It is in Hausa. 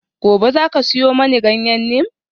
Gobe ​​zaka siyo mani ganyen neem?